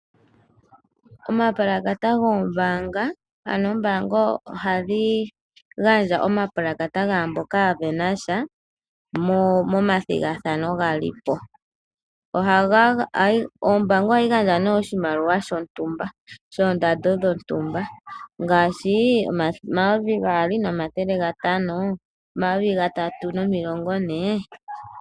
Oombaanga ohadhi gandja omapalakata gaamboka ya venasha momathigathano ga lipo. Ohayi gandja oshimaliwa shontumba, shondando dhontumba ngaashi oondola 2 500 no 3 040 .